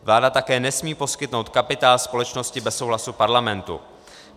Vláda také nesmí poskytnout kapitál společnosti bez souhlasu parlamentu.